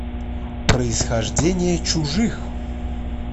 происхождение чужих